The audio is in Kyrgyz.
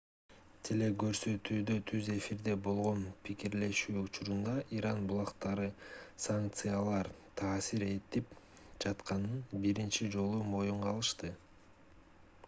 телекөрсөтүүдө түз эфирде болгон пикирлешүү учурунда иран булактары санкциялар таасир этип жатканын биринчи жолу моюнга алышты